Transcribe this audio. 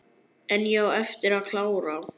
En ég á eftir að klára.